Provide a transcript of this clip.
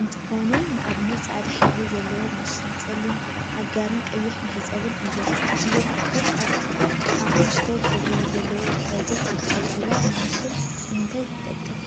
እንተኾኑ፤ ንአብነት ፃዕዳ ሕብሪ ዘለዋ ማሽን፣ ፀሊም አጋርን ቀይሕ መሕፀቢን እዮም፡፡ እዞም አቁሑ አብ ሓመኩሽቲ ሕብሪ ዘለዎ ድሕረ ገፅ ይርከቡ፡፡ እዛ ማሽን ንምንታይ ትጠቅም?